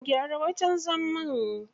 Gyara wajen zaman.